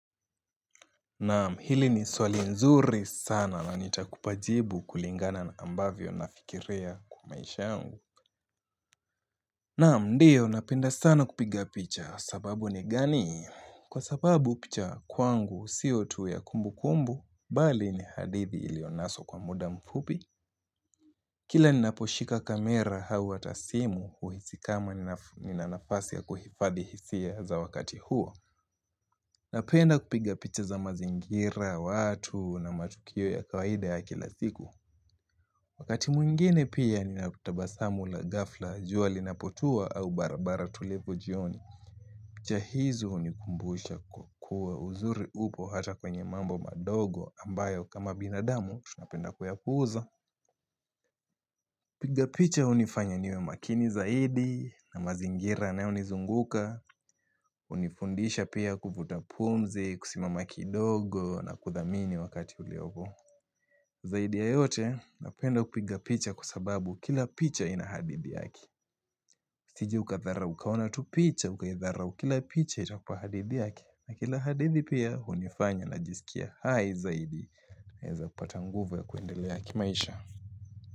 Naam hili ni swali nzuri sana na nitakupa jibu kulingana na ambavyo nafikiria kwa maisha yangu Naam ndio napenda sana kupiga picha sababu ni gani Kwa sababu picha kwangu sio tu ya kumbukumbu Bali ni hadithi iliyo naswa kwa muda mfupi Kila ninaposhika kamera au hata simu huhisi kama nina nafasi ya kuhifadhi hisia za wakati huo Napenda kupiga picha za mazingira, watu na matukio ya kawaida ya kila siku Wakati mwingine pia nina kutabasamu la gafla, jua linapotua au barabara tulivu jioni picha hizo hunikumbusha kuwa uzuri upo hata kwenye mambo madogo ambayo kama binadamu tunapenda kuya puuza kupiga picha hunifanya niwe makini zaidi na mazingira yanayo nizunguka hunifundisha pia kuvuta pumzi, kusimama kidogo na kuthamini wakati uliopo Zaidi ya yote napenda kupiga picha kwa sababu kila picha ina hadithi yake Usije ukatharau ukaona tu picha, ukaitharau kila picha itakupa hadithi yake na kila hadithi pia hunifanya najisikia hai zaidi naweza kupata nguvu ya kuendelea kimaisha.